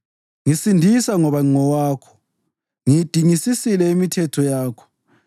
Ngisindisa ngoba ngingowakho; ngiyidingisisile imithetho yakho.